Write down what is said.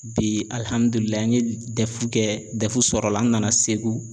Bi alihamudulila n ye dɛfu kɛ dɛfu sɔrɔla n nana Segu